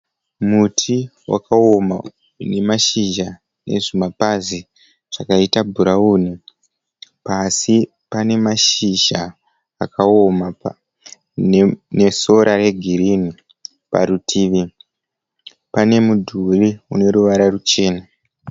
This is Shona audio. Muti wakaona unemashizha anezvimapazi zvakaita bhurawuni pasi pane mashizha akaoma nesora regirini parutivi pane mudhuri uneruvara ruchena.